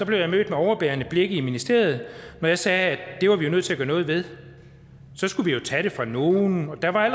blev jeg mødt med overbærende blikke i ministeriet når jeg sagde at det var vi jo nødt til at gøre noget ved så skulle vi jo tage det fra nogle og der var